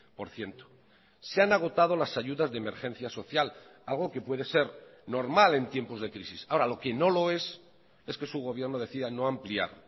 por ciento se han agotado las ayudas de emergencia social algo que puede ser normal en tiempos de crisis ahora lo que no lo es es que su gobierno decida no ampliar